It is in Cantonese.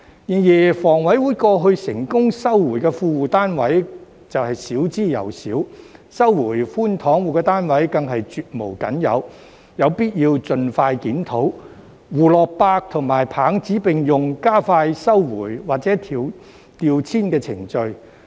然而，香港房屋委員會過去成功收回的富戶單位少之又少，收回寬敞戶的單位更是絕無僅有，有必要盡快檢討，胡蘿蔔與棒子並用，加快收回或調遷的程序。